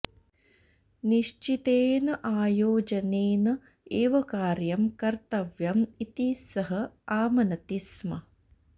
निश्चितेन आयोजनेन एव कार्यं कर्तव्यम् इति सः आमनति स्म